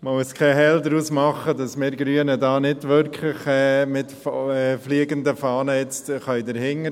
Man muss keinen Hehl daraus machen, dass wir Grünen jetzt nicht wirklich mit fliegenden Fahnen dahinterstehen können.